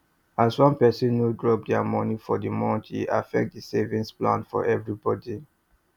as one person no drop their money for the month e affect the savings plan for everybody